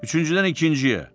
Üçüncüdən ikinciyə.